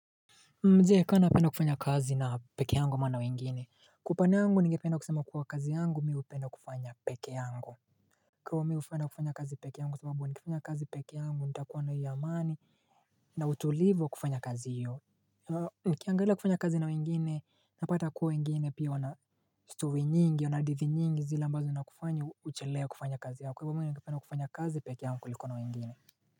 Ka napenda kufanya kazi na pekee yangu ama na wengine Kwa upande yangu ningependa kusema kuwa kazi yangu mi hupenda kufanya pekee yangu Kwa mi hupenda kufanya kazi pekee yangu kwa sababu nikifanya kazi pekee yangu nitakuwa na hiyo imani na utulivu wa kufanya kazi hiyo nikiangalia kufanya kazi na wengine napata kuwa wengine pia wana stori nyingi wana hadithi nyingi zile ambazo zinakufanya uchelewe kufanya kazi yako kwa hivyo mimi ningependa kufanya kazi pekee yangu kuliko na wengine.